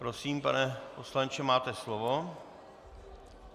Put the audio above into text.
Prosím, pane poslanče, máte slovo.